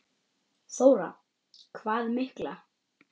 Þóra: Hvað mikla?